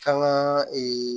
Kan ka